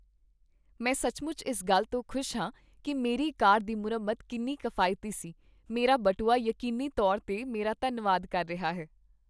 ਮੈਂ ਸੱਚਮੁੱਚ ਇਸ ਗੱਲ ਤੋਂ ਖੁਸ਼ ਹਾਂ ਕੀ ਮੇਰੀ ਕਾਰ ਦੀ ਮੁਰੰਮਤ ਕਿੰਨੀ ਕਿਫਾਇਤੀ ਸੀ, ਮੇਰਾ ਬਟੂਆ ਯਕੀਨੀ ਤੌਰ 'ਤੇ ਮੇਰਾ ਧੰਨਵਾਦ ਕਰ ਰਿਹਾ ਹੈ!